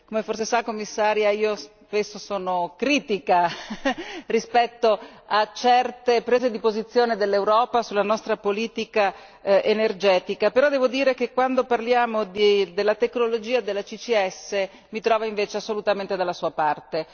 Come forse sa, Commissario, io spesso sono critica rispetto a certe prese di posizione dell'Europa sulla nostra politica energetica. Però devo dire che quando parliamo della tecnologia della CCS mi trova invece assolutamente dalla sua parte.